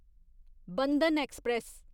Bandhan express